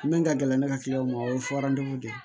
Min ka gɛlɛn ne ka o ye de ye